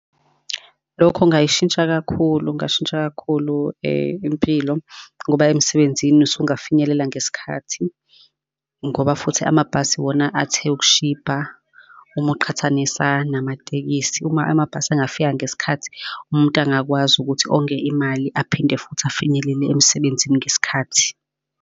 Lokho kungayishintsha kakhulu, kungashintsha kakhulu impilo, ngoba emsebenzini usungafinyelela ngesikhathi, ngoba futhi amabhasi wona athe ukushibha, uma uqhathanisa namatekisi. Uma amabhasi angafika ngesikhathi, umuntu angakwazi ukuthi onge imali aphinde futhi afinyelele emsebenzini ngesikhathi.